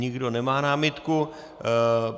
Nikdo nemá námitku.